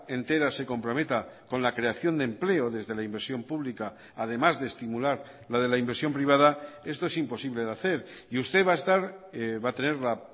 entera se comprometa con la creación de empleo desde la inversión pública además de estimular la de la inversión privada esto es imposible de hacer y usted va a estar va a tener la